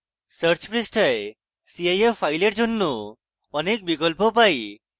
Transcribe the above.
search পৃষ্ঠায় cif files জন্য অনেক বিকল্প পাই